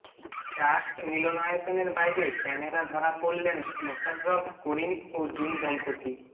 trust মিলনায়তনের বাইরে camera ধরা পড়লেন মোশাররফ করিম ও জুঁই দম্পতি